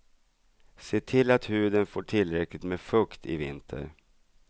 Se till att huden får tillräckligt med fukt i vinter.